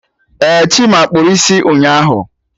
Eh, Chima kpụrụ isi ụnyaahụ